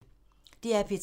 DR P3